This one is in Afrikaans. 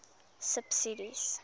subsidies